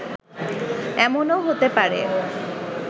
এমনও হতে পারে